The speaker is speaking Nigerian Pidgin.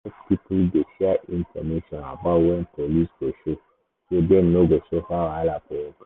market people dey share info about when police go show so dem no go suffer wahala for work.